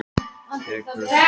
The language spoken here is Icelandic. Tekur þá við önnur löng umræða?